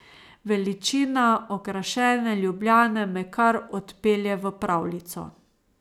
Veličina okrašene Ljubljane me kar odpelje v pravljico.